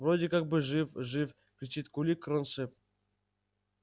вроде как бы жив жив кричит кулик кроншнеп